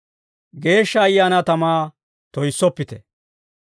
Geeshsha Ayaanaa tamaa toyissoppite.